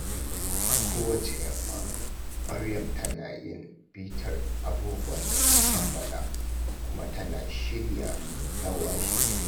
A kowace yamma, Maryam tana yin bitar abubuwan da ta kammala kuma tana shirya na washegari.